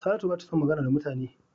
Saratu bata son magana da mutane